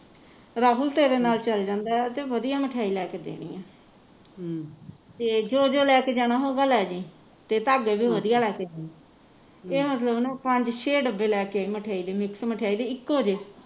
ਰਾਹੁਲ ਤੇਰੇ ਨਾਲ ਚੱਲ ਜਾਂਦੇ ਤੇ ਵਧੀਆ ਮਠਿਆਈ ਲੈ ਕੇ ਦੇਣੀ ਆ ਤੇ ਜੋ ਜੋ ਲੈਕੇ ਜਾਣਾ ਹੋਊਗਾ ਲੈ ਜੀ ਤੇ ਧਾਗੇ ਤੂੰ ਵਧੀਆ ਲੈ ਕੇ ਜਾਈਂ ਇਹ ਮਤਲਬ ਪੰਜ ਛੇ ਡੱਬੇ ਲੈਕੇ ਆਈ ਮਠਿਆਈ ਦੇ ਮਿਕ੍ਸ ਮਠਿਆਈ ਦੇ ਇੱਕੋ ਜਿਹੇ